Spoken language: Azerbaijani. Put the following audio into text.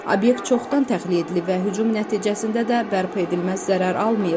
Obyekt çoxdan təxliyə edilib və hücum nəticəsində də bərpa edilməz zərər almayıb.